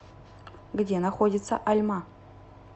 где находится альма